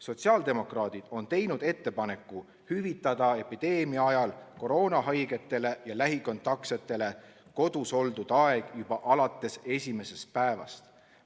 Sotsiaaldemokraadid on teinud ettepaneku hüvitada epideemia ajal koroonahaigetele ja lähikontaksetele kodus oldud aeg juba alates esimesest päevast.